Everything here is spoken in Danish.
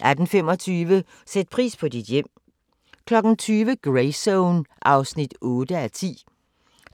18:25: Sæt pris på dit hjem 20:00: Greyzone (8:10)